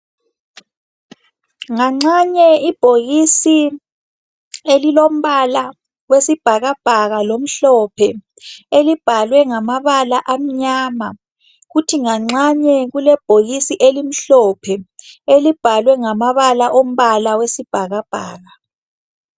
Nganxanye ibhokisi lombalawesibhakabhaka olomhlophe elibalwe ngamabala amnyama kuthi nganxanye kulebhokisisi limhlophe elibhalwe ngamabala ombala wesibhakabhaka.